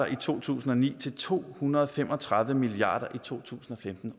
i to tusind og ni til to hundrede og fem og tredive milliard kroner i to tusind og femten